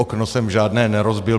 Okno jsem žádné nerozbil.